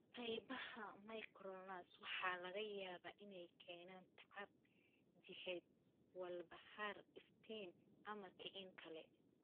Qaybaha myoclonus waxa laga yaabaa inay keenaan tacab jidheed, walbahaar, iftiin, ama kicin kale.